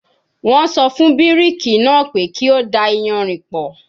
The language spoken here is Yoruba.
Wọ́n sọ fún bíríkì náà pé kí ó da iyanrìn pọ̀